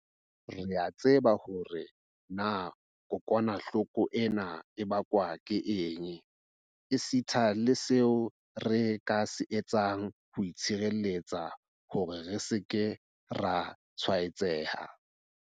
Re a tseba hore na kokwanahloko ena e bakwa ke eng, esita le seo re ka se etsang ho itshireletsa hore re se ke ra tshwaetseha.